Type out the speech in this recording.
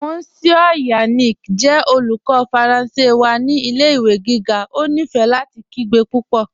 Monsieur Yannick jẹ olùkọ̀ Faranse wa ni ilẹ̀-ìwé gígá, ó nífé láti kìgbe púpọ́.